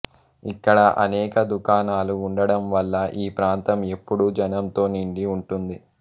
ఇక్కడ అనేక దుకాణాలు ఉండడంవల్ల ఈ ప్రాంతం ఎప్పుడూ జనంతో నిండి ఉంటుంది